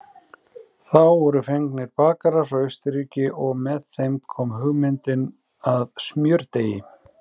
Þá voru fengnir bakarar frá Austurríki og með þeim kom hugmyndin að smjördeigi.